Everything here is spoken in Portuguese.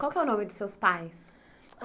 Qual que é o nome dos seus pais?